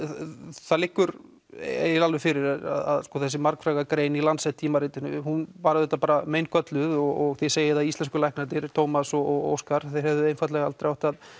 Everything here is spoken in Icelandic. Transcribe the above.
það liggur alveg fyrir að þessi margfræga grein í Lancet tímaritinu hún var auðvitað meingölluð og þið segið að íslensku læknarnir Tómas og Óskar þeir hefðu hreinlega aldrei átt að